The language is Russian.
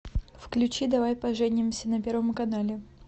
включи давай поженимся на первом канале